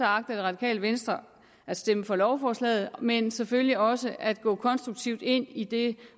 agter det radikale venstre at stemme for lovforslaget men selvfølgelig også at gå konstruktivt ind i det